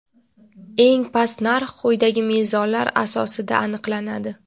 eng past narx quyidagi mezonlar asosida aniqlanadi:.